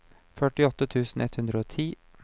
førtiåtte tusen ett hundre og ti